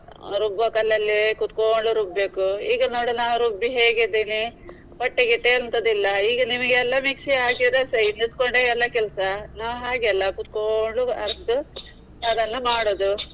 ರುಬ್ಬೊ ಕಲ್ಲಲ್ಲಿ ಕುತ್ಕೊಂಡು ರುಬ್ಬೇಕು. ಈಗ ನೋಡಿ ನಾವು ರುಬ್ಬಿ ಹೇಗಿದ್ದೇನೆ, ಹೊಟ್ಟೆ ಗಿಟ್ಟೆ ಎಂತದಿಲ್ಲ ಈಗ ಎಲ್ಲಾ ನಿಮಿಗೆ ಎಲ್ಲ mixie ಹಾಕಿದ್ರೆ ಸೈ ನಿಲ್ಕೊಂಡೆ ಎಲ್ಲಾ ಕೆಲ್ಸ. ನಾವು ಹಾಗೆ ಅಲ್ಲ ಕೂತ್ಕೊಂಡು ಅರ್ದು ಅದನ್ನ ಮಾಡುದು.